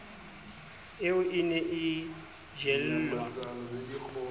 eo e ne e jellwa